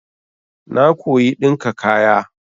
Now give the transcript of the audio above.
Na koyi ɗinka kaya.